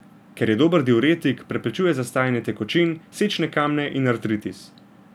Ker je dober diuretik, preprečuje zastajanje tekočin, sečne kamne in artritis.